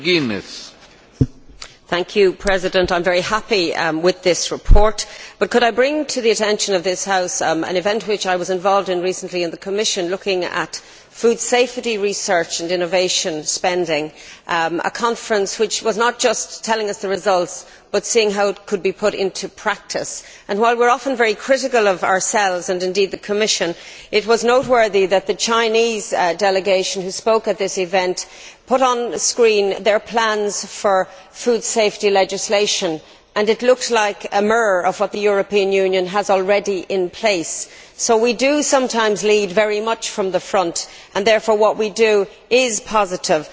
Mr President, I am very happy with this report but wish to bring to the attention of this House an event that I was involved in recently in the Commission on food safety research and innovation spending, a conference that was not just telling us the results but seeing how it could be put into practice. While we are often very critical of ourselves, and indeed the Commission, it was noteworthy that the Chinese delegation that spoke at this event put on screen its plans for food safety legislation and it looked like a mirror of what the European Union has already in place. So we do sometimes lead very much from the front and therefore what we do is positive.